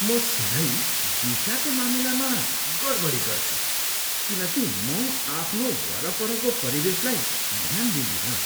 म सधैँ दिशाको मामिलामा गडबडी गर्छु किनकि म आफ्नो वरपरको परिवेशलाई ध्यान दिँदिनँ।